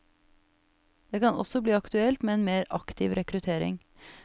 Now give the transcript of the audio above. Det kan også bli aktuelt med en mer aktiv rekruttering.